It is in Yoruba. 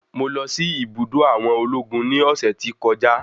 Mo lọ sí ibùdó àwọn ológun ní ọ̀sẹ̀ tí kọjá.